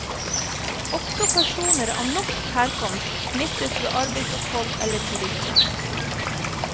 Også personer av norsk herkomst smittes ved arbeidsopphold eller turisme.